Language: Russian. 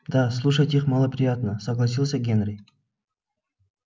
да слушать их малоприятносогласился генри